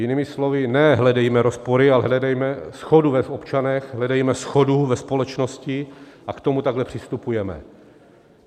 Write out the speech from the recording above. Jinými slovy, ne hledejme rozpory, ale hledejme shodu v občanech, hledejme shodu ve společnosti a k tomu takhle přistupujme.